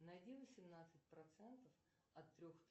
найди восемнадцать процентов от трех